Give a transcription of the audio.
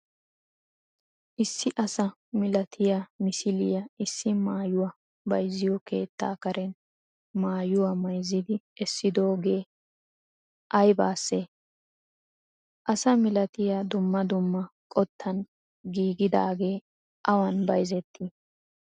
issi asaa milatiya misiliya issi maayuwa bayziyo keetta kareen maayuwa maayzidi essidogee aybaassee? asaa milatiya duummaa duummaa qottan giggidagee awan bayzetti?